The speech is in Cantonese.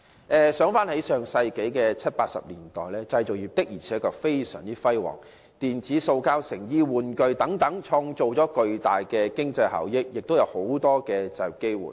回顧上世紀七八十年代，製造業確實非常輝煌，無論是電子、塑膠、成衣、玩具等，均創造了巨大的經濟效益，亦造就了大量就業機會。